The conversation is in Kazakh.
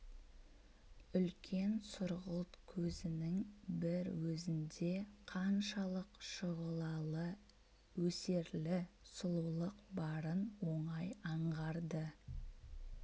үлкен сұрғылт көзінің бір өзінде қаншалық шұғылалы өсерлі сұлулық барын оңай аңғарды